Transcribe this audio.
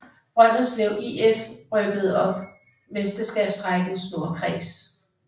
Brønderslev IF rykkede op Mesterskabsrækkens nordkreds